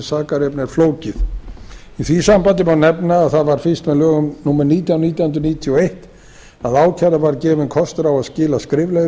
sakarefni er flókið í því sambandi má nefna að það var fyrst með lögum númer nítján nítján hundruð níutíu og eitt að ákærða var gefinn kostur á að skila skriflegri